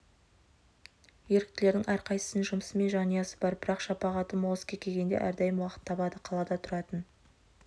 еріктілердің әрқайсысының жұмысы мен жанұясы бар бірақ шапағаты мол іске келгенде әрдайым уақыт табады қалада тұратын